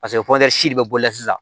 Paseke si de bɛ bɔ yan sisan